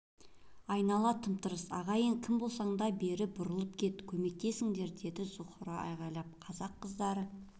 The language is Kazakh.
айнала тым-тырыс ағайын кім болсаң да бер бұрыла кет көмектесіңдер деді зухра айғайлап қазақ қыздары